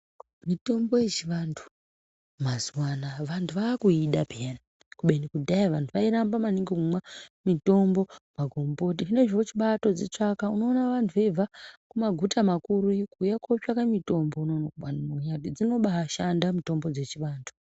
Mitombo yechivantu mazuwa anaa vantu vakuida puyani kubeni kudhaya vairamba maningi kumwa mitombo magomboti zvinezvi vochibatodzitsvaka unoona vantu veibva kumaguta makuru iyo kuuya kotsvaka mitombo unono. Dzinobashanda mitombo dzechivantu.